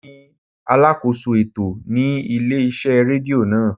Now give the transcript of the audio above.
Emi ni alákóso ètò ní ilé iṣẹ́ rédíò náà.